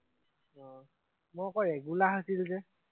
উম মই আক ৰেগোলাৰ হৈছিল যে